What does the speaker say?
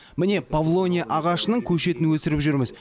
міне павлония ағашының көшетін өсіріп жүрміз